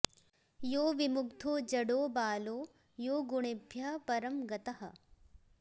यो विमुग्धो जडो बालो यो गुणेभ्यः परं गतः